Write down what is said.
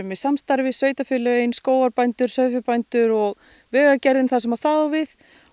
í samstarfi sveitarfélögin skógarbændur sauðfjárbændur og Vegagerðin þar sem það á við